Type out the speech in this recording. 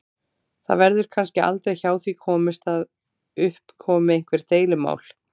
Það verður kannski aldrei hjá því komist að upp komi einhver deilumál.